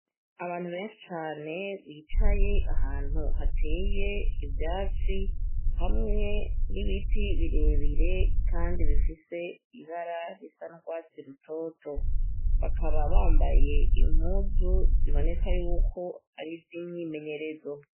Abantu benshi cane bicaye ahantu hateye ivyatsi hamwe n'ibiti birebire, kandi bifise ibara risa ndwatsi rutoto bakaba bambaye impuzu ziboneka yuko ari z'imyimenyerezo.